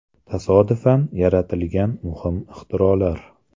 Tasodifan yaratilgan muhim ixtirolar.